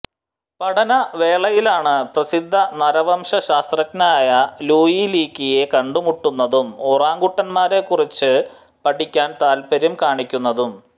പഠന വേളയിലാണ് പ്രസിദ്ധ നരവംശ ശാസ്ത്രജഞനായ ലൂയി ലീക്കിയെ കണ്ടുമുട്ടുന്നതും ഒറാഗുട്ടാങ്ങുളെക്കുറിച്ച് പഠിക്കാൻ താല്പര്യം കാണീക്കുന്നതും